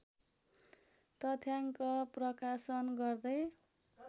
तथ्याङ्क प्रकाशन गर्दै